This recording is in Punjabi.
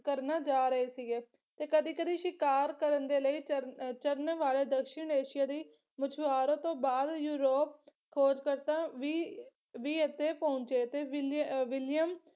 ਕਰਨਾ ਜਾ ਰਹੇ ਸੀਗੇ। ਤੇ ਕਦੀ ਕਦੀ ਸ਼ਿਕਾਰ ਕਰਨ ਦੇ ਲਈ ਚਰਨ ਚਰਨ ਵਾਲੇ ਦੱਖਣ ਏਸ਼ੀਆ ਦੀ ਮਛੁਵਾਰੋ ਤੋਂ ਬਾਅਦ ਯੂਰੋਪ ਖੋਜਕਰਤਾ ਵੀ ਵੀ ਇੱਥੇ ਪਹੁੰਚੇ ਤੇ ਵਿਲੀ ਵਿਲੀਅਮ